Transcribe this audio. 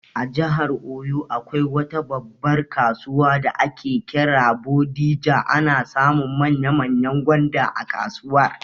A jihar oyo, akwai wata babbar kasuwar da ake kira 'Bodija', ana samun manya manyan gwanda a kasuwar